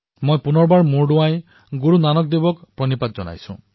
পুনৰবাৰ মই শিৰ দোৱাই গুৰুনানক দেৱজীক প্ৰণাম জনাইছো